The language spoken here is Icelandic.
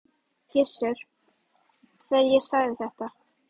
Gissur, þegar ég sagði þetta.